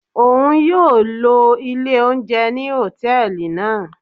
Oun yóò ló ilè ounjẹ ni hòtẹ́ẹ̀lì naa.